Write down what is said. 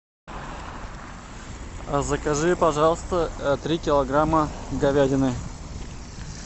закажи пожалуйста три килограмма говядины